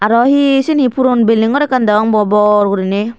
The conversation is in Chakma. arw hi seni puron belding gor ekkan deong bo bor gurine.